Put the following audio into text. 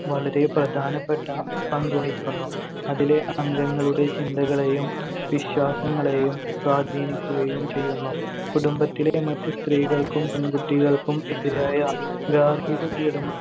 വളരെ പ്രധാനപ്പെട്ട പങ്ക് വഹിക്കുന്നു. അതിലെ അംഗങ്ങളുടെ ചിന്തകളെയും വിശ്വാസങ്ങളെയും സ്വാധീനിക്കുകയും ചെയ്യുന്നു. കുടുംബത്തിലെ മറ്റ് സ്ത്രീകൾക്കും പെൺകുട്ടികൾക്കും എതിരായ ഗാർഹിക പീഡന